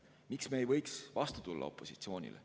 Miks me ei võiks opositsioonile vastu tulla?